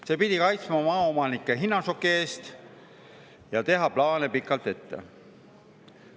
See pidi kaitsma maaomanikke hinnašoki eest ja teha plaane pikalt ette.